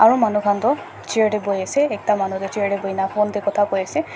eh manu khan tu chair te bohi ase ekta manu ta chair te bohi na phone dey kota Kota koi ase.